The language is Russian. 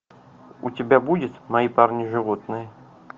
у тебя будет мои парни животные